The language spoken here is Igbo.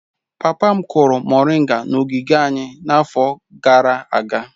Papa m kụrụ moringa n'ogige anyị n'afọ gara aga.